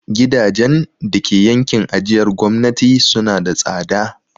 Gidajen dake yankin ajiyar gwamnati suna da tsada.